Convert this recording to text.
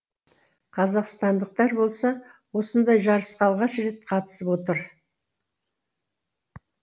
қазақстандықтар болса осындай жарысқа алғаш рет қатысып отыр